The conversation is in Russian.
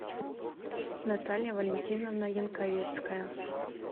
наталья валентиновна янковецкая